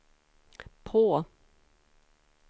på